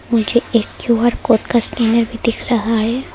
मुझे एक Q R code का स्कैनर भी दिख रहा है।